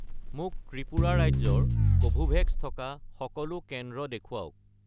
মোক ত্ৰিপুৰা ৰাজ্যৰ কোভোভেক্স থকা সকলো কেন্দ্ৰ দেখুৱাওক